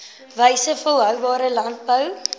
wyses volhoubare landbou